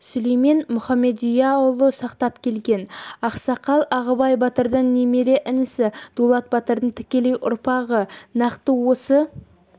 сүлеймен мұхамедияұлы сақтап келген ақсақал ағыбай батырдың немере інісі дулат батырдың тікелей ұрпағы нақты осы